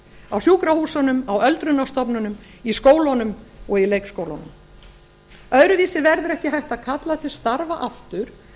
á sjúkrahúsunum á öldrunarstofnunum í skólunum og í leikskólunum öðruvísi verður ekki hægt að kalla til starfa aftur